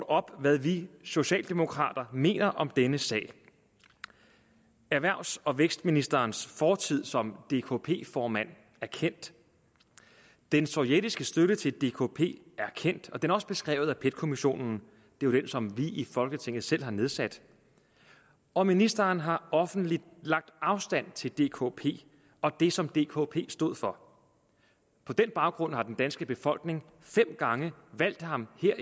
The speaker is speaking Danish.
op hvad vi socialdemokrater mener om denne sag erhvervs og vækstministerens fortid som dkp formand er kendt den sovjetiske støtte til dkp er kendt og den er også beskrevet af pet kommissionen den som vi i folketinget selv har nedsat og ministeren har offentligt lagt afstand til dkp og det som dkp stod for på den baggrund har den danske befolkning fem gange valgt ham her